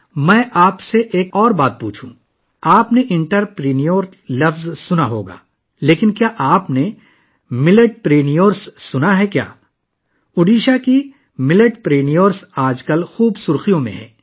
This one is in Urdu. کیا میں آپ سے ایک اور بات پوچھ سکتا ہوں؟ آپ نے لفظ انٹرپرینیور تو سنا ہوگا، لیکن کیا آپ نے میلیٹ پرینیورس سنا ہے؟ ان دنوں اوڈیشہ کے میلیت پرینیور سرخیوں میں ہیں